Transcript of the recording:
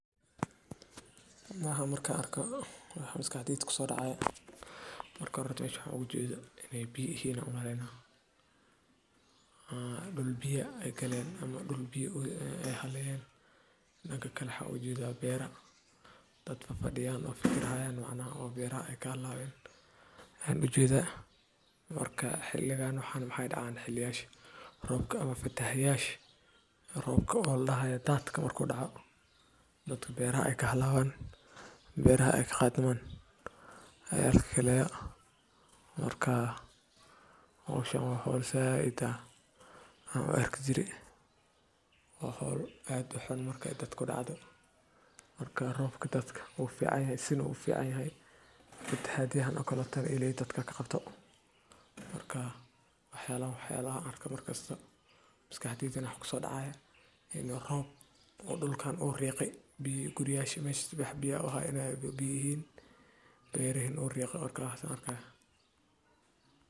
Waaxaan markan arko waxaa maskaxdeyda kuso dacaya waa dhul biyaa haleyeen waa dhacdo dabiici ah oo ka timaadda marka roobab xooggan ay da’aan ama wabiyada iyo harooyinka ay ka buuxsamaan biyo badan, taas oo keenta in biyuhu ka baxaan xuduudkoodii caadiga ahaa. Biyaha badan ee fatahaadda keena waxay burburiyaan guryo, beero, waddooyin, iyo xoolo, waxayna khatar weyn ku yihiin nolosha dadka. Deegaannada hoos u yaalla ama aan lahayn biyo-mareenno fiican ayaa ah kuwa ugu badan ee halista ugu jira. Fatahaaddu waxay keentaa barakac, cudurro biyaha la xiriira, iyo khasaare dhaqaale. Si looga hortago saameynta fatahaadda.